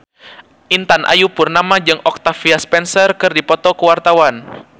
Intan Ayu Purnama jeung Octavia Spencer keur dipoto ku wartawan